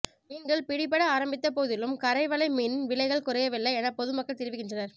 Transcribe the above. மீன்கள் பிடிபட ஆரம்பித்த போதிலும் கரைவலை மீனின் விலைகள் குறையவில்லை என பொதுமக்கள் தெரிவிக்கின்றனர்